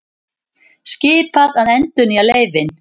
Skipað að endurnýja leyfin